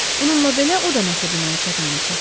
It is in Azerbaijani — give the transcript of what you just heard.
Bununla belə, o da nəsə deməyə çətinlik çəkir.